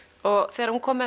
þegar hún kom